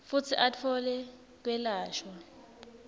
futsi atfole kwelashwa